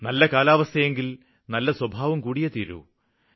നല്ല കാലാവസ്ഥയെങ്കില് നല്ല സ്വഭാവം കൂടിയേ തീരൂ